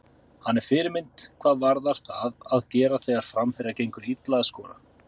Hann er fyrirmynd hvað varðar það að gera þegar framherja gengur illa að skora.